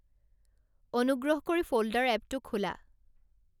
অনুগ্ৰহ কৰি ফ'ল্ডাৰ এপটো খোলা